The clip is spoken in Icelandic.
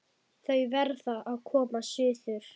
Þau verða að koma suður!